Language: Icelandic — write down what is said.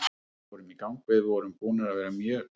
Við fórum í gang, við vorum búnir að vera mjög daprir.